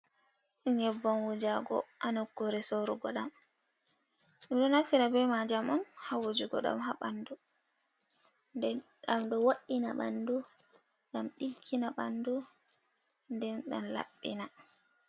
Nyebban wujago ha nokkure sorugo dam dumi do nafsida be majam on hawujugo dam abandu ddam do wo’ina bandu gam diggina bandu nden dam labbina